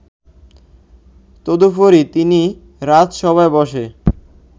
তদুপরি তিনি রাজসভায় বসে